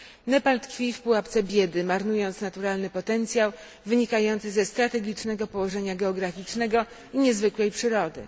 Nepal tkwi w pułapce biedy, marnując naturalny potencjał wynikający ze strategicznego położenia geograficznego i niezwykłej przyrody.